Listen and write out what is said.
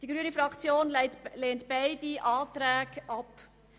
Die grüne Fraktion lehnt beide Planungserklärungen ab.